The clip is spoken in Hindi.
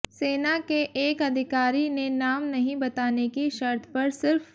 सेना के एक अधिकारी ने नाम नहीं बताने की शर्त पर सिर्फ